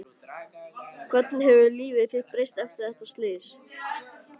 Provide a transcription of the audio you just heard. Hvernig hefur líf þitt breyst eftir þetta slys?